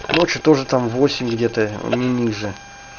ночью тоже там восемь где-то не ниже